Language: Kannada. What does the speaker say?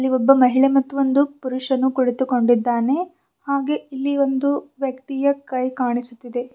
ಇಲ್ಲಿ ಒಬ್ಬ ಮಹಿಳೆ ಮತ್ತು ಒಂದು ಪುರುಷನು ಕುಳಿತುಕೊಂದಿದ್ದಾನೆ ಹಾಗೆ ಇಲ್ಲಿ ಒಂದು ವ್ಯಕ್ತಿಯ ಕೈ ಕಾಣಿಸುತ್ತಿದೆ.